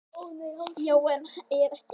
Já, og er enn.